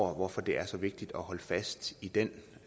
hvorfor det er så vigtigt at holde fast i den